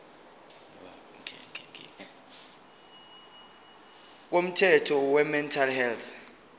komthetho wemental health